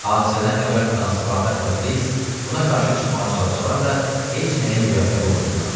Hadisədən xəbər tutan Spartakla Kriks buna qarşı çıxmağa çalışsalar da, heç nəyə müvəffəq olmadılar.